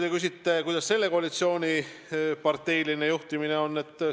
Te küsite, kuidas selle koalitsiooni parteiline juhtimine on välja kujunenud.